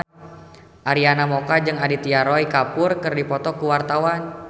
Arina Mocca jeung Aditya Roy Kapoor keur dipoto ku wartawan